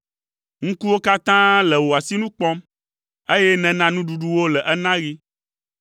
Ŋkuwo katã le wò asinu kpɔm, eye nèna nuɖuɖu wo le enaɣi.